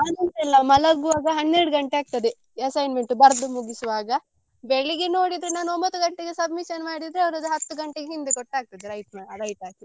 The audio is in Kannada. ನಾನ್ ಉಂಟಲ್ಲ ಮಲಗ್ವಾಗ ಹನ್ನೆರಡು ಗಂಟೆ ಆಗ್ತದೆ assignment ಬರ್ದು ಮುಗಿಸುವಾಗ ಬೆಳ್ಳಿಗೆ ನೋಡಿದ್ರೆ ನಾನ್ ಒಂಬತ್ತು ಗಂಟೆಗೆ submission ಮಾಡಿದ್ರೆ ಅವ್ರದ್ದು ಹತ್ತು ಗಂಟೆಗೆ ಹಿಂದೆ ಕೊಟ್ಟು ಆಗ್ತದೆ right ಮಾ~ right ಹಾಕಿ.